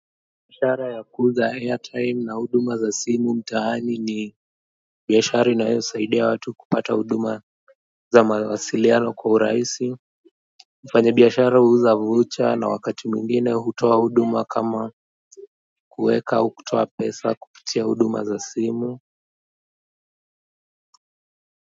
Biashara ya kuuza airtime na huduma za simu mtaani ni biashara inayosaidia watu kupata huduma za mawasiliano kwa urahisi mfanyabiashara huuza voucher na wakati mwingine hutoa huduma kama kuweka au kutoa pesa kupitia huduma za simu.